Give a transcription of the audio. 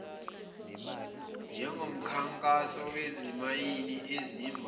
njengomkhankaso wezimayini ezimba